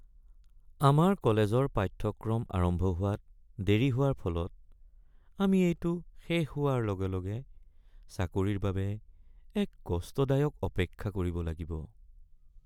আমাৰ কলেজৰ পাঠ্যক্ৰম আৰম্ভ হোৱাত দেৰি হোৱাৰ ফলত আমি এইটো শেষ হোৱাৰ লগে লগে চাকৰিৰ বাবে এক কষ্টদায়ক অপেক্ষা কৰিব লাগিব।